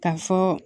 Ka fɔ